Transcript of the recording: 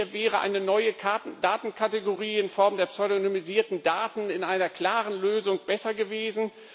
Hier wäre eine neue Datenkategorie in Form der pseudonymisierten Daten in einer klaren Lösung besser gewesen.